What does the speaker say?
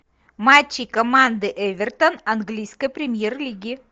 матчи команды эвертон английской премьер лиги